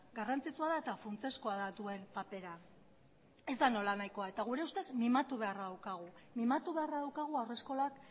garrantzitsua da eta funtsezkoa da duen papera ez da nolanahikoa gure ustez mimatu beharra daukagu haurreskolak